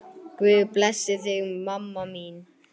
Guð blessi þig, mamma mín.